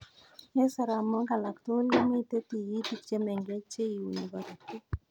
Eng soromoik alak tugul komitei tigitik chemengech cheiuni korotik